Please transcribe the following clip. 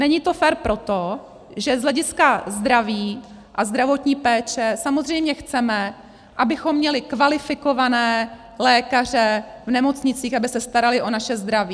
Není to fér proto, že z hlediska zdraví a zdravotní péče samozřejmě chceme, abychom měli kvalifikované lékaře v nemocnicích, aby se starali o naše zdraví.